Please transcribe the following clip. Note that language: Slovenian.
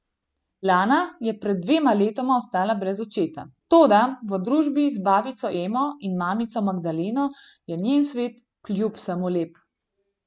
Lana je pred dvema letoma ostala brez očeta, toda v družbi z babico Emo in mamico Magdaleno je njen svet kljub vsemu lep.